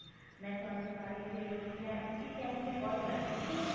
ਮੈਂ ਤੁਹਾਨੂੰ ਕੱਲ ਫ਼ੇਰ ਕਿਆ ਇਸੀ time ਤੇ call ਕਰ ਸਕਦੀ ਹਾਂ mam